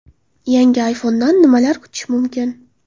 Yangi ayfondan nimalar kutish mumkin?